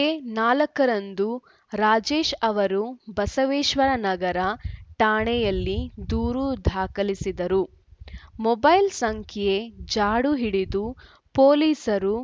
ಏ ನಾಲ್ಕರಂದು ರಾಜೇಶ್‌ ಅವರು ಬಸವೇಶ್ವರ ನಗರ ಠಾಣೆಯಲ್ಲಿ ದೂರು ದಾಖಲಿಸಿದ್ದರು ಮೊಬೈಲ್‌ ಸಂಖ್ಯೆ ಜಾಡು ಹಿಡಿದು ಪೊಲೀಸರು